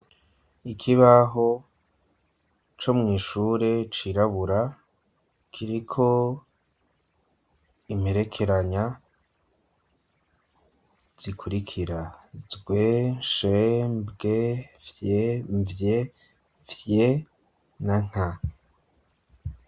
Ikibaho co mw’ishure, cirabura, kiriko imperekeranya zikurikira: zw,sh,mbw,vy, mvy, fy na nta.